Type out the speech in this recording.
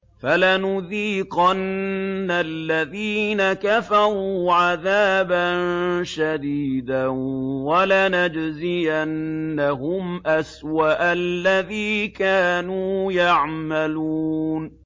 فَلَنُذِيقَنَّ الَّذِينَ كَفَرُوا عَذَابًا شَدِيدًا وَلَنَجْزِيَنَّهُمْ أَسْوَأَ الَّذِي كَانُوا يَعْمَلُونَ